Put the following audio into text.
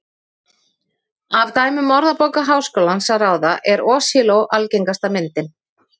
Af dæmum Orðabókar Háskólans að ráða er hosiló algengasta myndin.